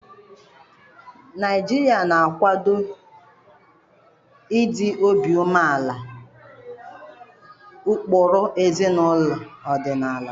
Naijiria na-akwado ịdị obi umeala na ụkpụrụ ezinaụlọ ọdịnala.